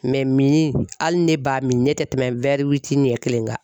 mini, hali ne b'a min ne tɛ tɛmɛ ɲɛ kelen kan.